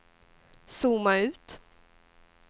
zooma ut